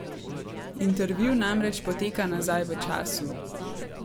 Intervju namreč poteka nazaj v času.